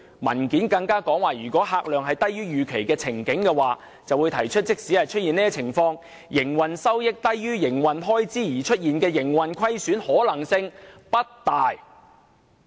文件更指出有可能出現客量低於預期的情況，但即使如此，"營運收益低於營運開支而出現營運虧損的可能性也不大"。